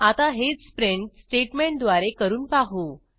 आता हेच प्रिंट स्टेटमेंटद्वारे करून पाहू